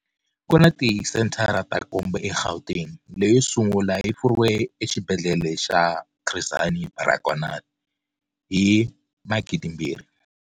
Ku na tisenthara ta nkombo eGauteng. Leyi yo sungula yi pfuriwile eXibedlhele xa Chris Hani Baragwanath hi 2000.